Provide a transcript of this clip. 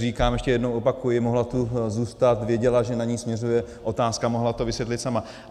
Říkám, ještě jednou opakuji, mohla tu zůstat, věděla, že na ni směřuje otázka, mohla to vysvětlit sama.